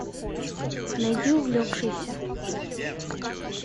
найди увлекшийся